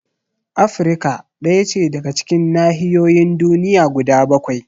Afrika ɗaya ce daga cikin nahiyoyin duniya guda bakwai